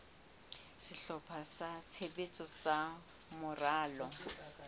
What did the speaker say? sehlopha sa tshebetso sa moralo